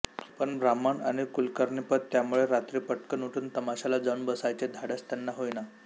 पण ब्राह्मण आणि कुलकर्णीपद त्यामुळे रात्री पटकन उठून तमाशाला जाऊन बसायचे धाडस त्यांना होईना